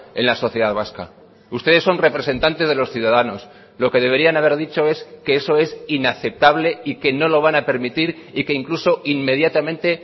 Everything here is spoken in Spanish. en la sociedad vasca ustedes son representantes de los ciudadanos lo que deberían haber dicho es que eso es inaceptable y que no lo van a permitir y que incluso inmediatamente